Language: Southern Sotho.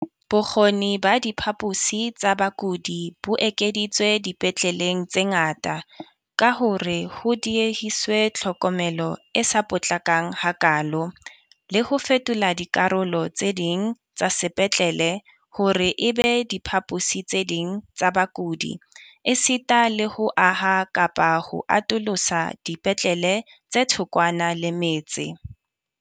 Bokgoni ba diphaposi tsa bakudi bo ekeditswe dipetleleng tse ngata ka hore ho diehiswe tlhokomelo e sa potlakang hakaalo, le ho fetola dikarolo tse ding tsa sepetlele hore e be diphaposi tse ding tsa bakudi esita le ho aha kapa ho atolosa dipetlele tse thokwana le metse.